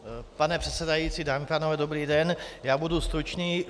Pane předsedající, dámy a pánové, dobrý den, já budu stručný.